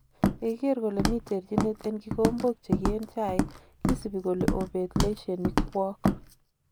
"Yegiger kole mi terchinet en kigombok chegi en chaik kisibi kole obet leiesining kwoog."